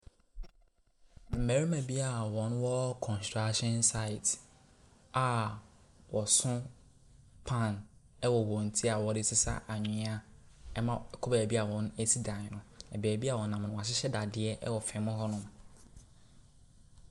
Mmarima bi a wɔwɔ construction site a wɔso pan wɔ wɔn ti a wɔde resesa anwea ma kɔ beebi a wɔresisi dan no. Beebi a wɔnam no, wɔahyehyɛ dadeɛ wɔ fam hɔnom.